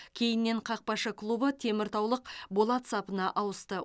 кейіннен қақпашы клубы теміртаулық болат сапына ауысты